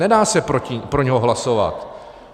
Nedá se pro něj hlasovat.